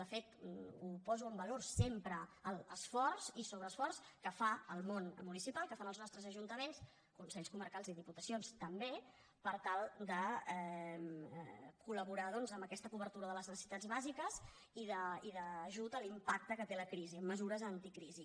de fet ho poso en valor sempre l’esforç i sobreesforç que fa el món municipal que fan els nostres ajuntaments consells comarcals i diputacions també per tal de col·laborar doncs en aquesta cobertura de les necessitats bàsiques i d’ajut a l’impacte que té la crisi amb mesures anticrisi